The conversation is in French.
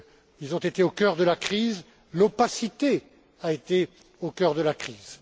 Ils ont été au cœur de la crise, l'opacité a été au cœur de la crise.